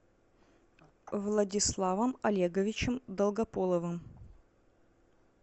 владиславом олеговичем долгополовым